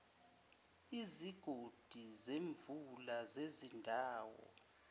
izigodi zemvula zezindawo